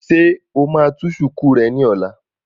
Ṣé o máa tú shùkú rẹ ní ọ̀la?